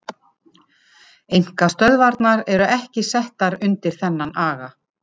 Einkastöðvarnar eru ekki settar undir þennan aga.